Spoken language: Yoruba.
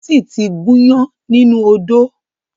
Tósìn ti gúnyán nínú odó